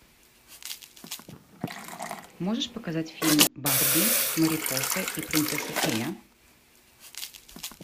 можешь показать фильм барби марипоса и принцесса фея